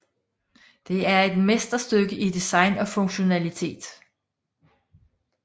Det er et mesterstykke i design og funktionalitet